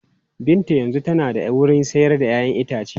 Binta yanzu tana da wurin sayar da 'ya'yan itace.